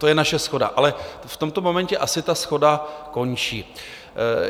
To je naše shoda, ale v tomto momentě asi ta shoda končí.